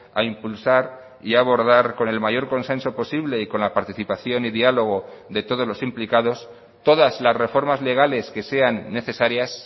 a impulsar y abordar con el mayor consenso posible y con la participación y diálogo de todos los implicados todas las reformas legales que sean necesarias